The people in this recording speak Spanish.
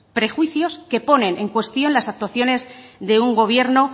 prejuicios que ponen en cuestión las actuaciones de un gobierno